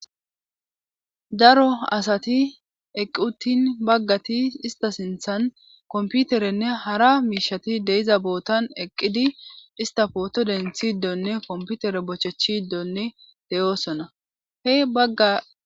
Daro asati eqqutin baggati ista sinthan komputerenne hara miishati deiza bootan eqqidi ista pooto denthiddonne komputere bochechiddonne de7oosona he bagga.